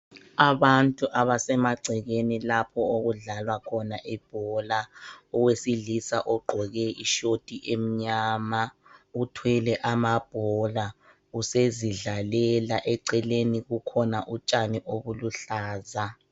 Abantu abasemaceleni lapho okudlalwa khona ibhola. Owesilisa ogqoke ishoti emnyama, uthwele amabhora, usezidlalela. Eceleni kukhona utshani obuluhlaza.